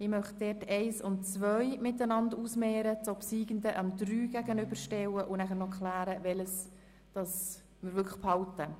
Ich möchte die Ziffern 1 und 2 einander gegenüberstellen, die obsiegende Ziffer der Ziffer 3 gegenüberstellen und dann klären, welche wir dann wirklich behalten.